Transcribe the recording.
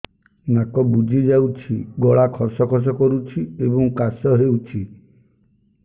ନାକ ବୁଜି ଯାଉଛି ଗଳା ଖସ ଖସ କରୁଛି ଏବଂ କାଶ ହେଉଛି